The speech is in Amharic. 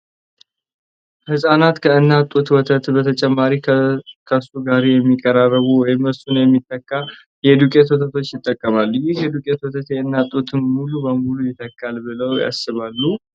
ህጻናት ከእናት ጡት ወተት በተጨማሪ ከሱ ጋር የሚቀራረብ ወይም እሱን የሚተካ የዱቄት ወተቶችን ይጠቀማሉ። ይህ የዱቄት ወተት የእናት ጡትን ሙሉ በሙሉ ይተካል ብለው ያስባሉ?